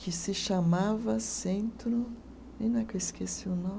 que se chamava Centro, e não é que eu esqueci o nome